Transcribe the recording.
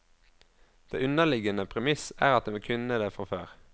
Det underliggende premiss er at de kunne det før.